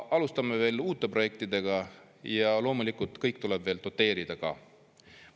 Alustame veel uute projektidega ja loomulikult kõike tuleb doteerida ka.